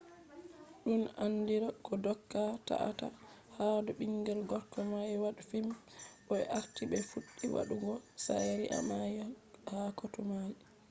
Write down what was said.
dun andira ko doka ta-a-ta hadou bingel gorko mai wade fim bo be arti be fuddi wadu go shari`a mai ha kotu mai